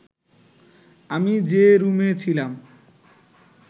আমি যে রুমে ছিলাম